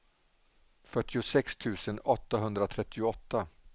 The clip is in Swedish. fyrtiosex tusen åttahundratrettioåtta